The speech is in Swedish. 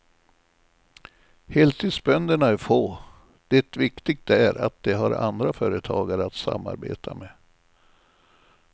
Heltidsbönderna är få, det viktigt är att de har andra företagare att samarbeta med.